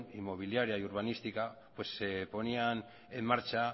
inmobiliaria y urbanística se ponían en marcha